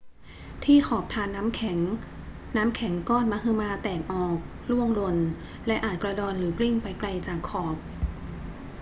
ที่ขอบธารน้ำแข็ง น้ำแข็งก้อนมหึมาแตกออก ร่วงหล่น และอาจกระดอนหรือกลิ้งไปไกลจากขอบ